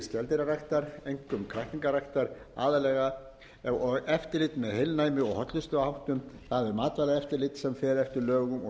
skeldýraræktar einkum kræklingarækt aðallega eftirlit með heilnæmi og hollustuháttum það er matvælaeftirlit sem fer eftir lögum og